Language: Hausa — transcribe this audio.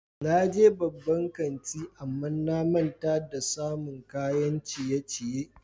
Na je babban kanti amma na manta da samun kayan ciye-ciye.